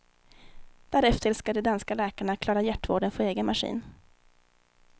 Därefter skall de danska läkarna klara hjärtvården för egen maskin.